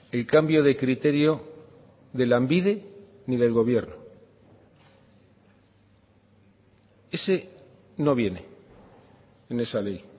el cambio de criterio de lanbide ni del gobierno ese no viene en esa ley